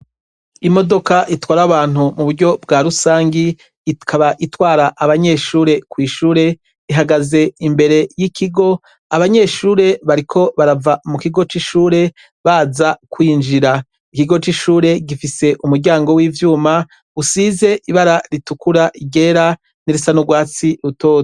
Imodoka itwara abantu mu buryo bwa rusangi ikaba itwara abanyeshure kw'ishure ihagaze imbere y'ikigo abanyeshure bariko barava mu kigo c'ishure baza kwinjira ikigo c'ishure gifise umuryango w'ivyuma usize ibara ritukura igerani msana urwatsi utoa.